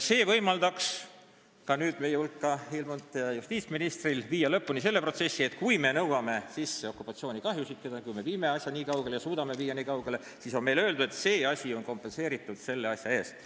See võimaldaks nüüd meie hulka ilmunud justiitsministril viia lõpule selle protsessi, et kui me nõuame sisse okupatsioonikahjusid – kui me viime ja suudame asja viia nii kaugele –, siis oleks see kompenseeritud selle asja eest.